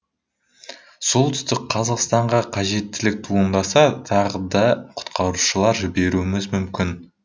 солтүстік қазақстанға қажеттілік туындаса тағы да құтқарушылар жіберуіміз мүмкін